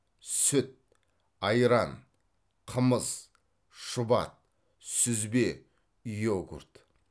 сүт айран қымыз шұбат сүзбе йогурт